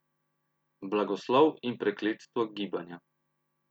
Blagoslov in prekletstvo gibanja.